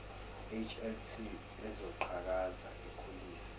hlt ezoqhakaza ikhulise